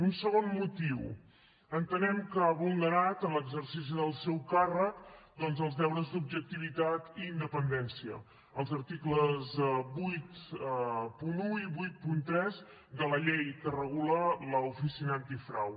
un segon motiu entenem que ha vulnerat en l’exercici del seu càrrec doncs els deures d’objectivitat i independència els articles vuitanta un i vuitanta tres de la llei que regula l’oficina antifrau